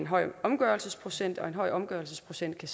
høj omgørelsesprocent og en høj omgørelsesprocent kan